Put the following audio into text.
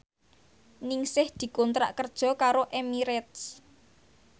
Ningsih dikontrak kerja karo Emirates